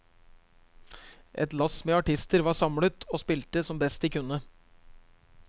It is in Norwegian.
Et lass med artister var samlet, og spilte som best de kunne.